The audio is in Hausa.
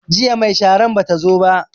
Jiya mai sharan bata zo ba